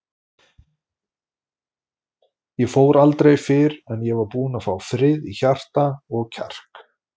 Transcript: Ég fór aldrei fyrr en ég var búinn að fá frið í hjarta og kjark.